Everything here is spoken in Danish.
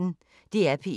DR P1